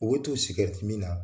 U b'u to min na